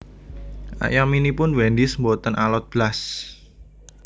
Ayaminipun Wendy's mboten alot blas